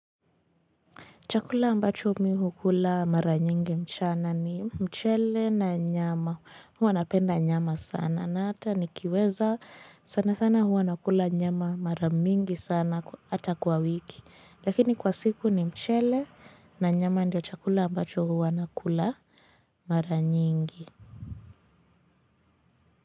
Chakula ambacho mimi hukula mara nyingi mchana ni mchele na nyama. Huwa napenda nyama sana na ata nikiweza sanasana huwa nakula nyama mara mingi sana ata kwa wiki. Lakini kwa siku ni mchele na nyama ndio chakula ambacho huwa nakula mara nyingi.